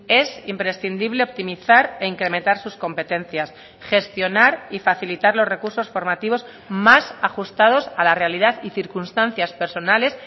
es imprescindible optimizar e incrementar sus competencias gestionar y facilitar los recursos formativos más ajustados a la realidad y circunstancias personales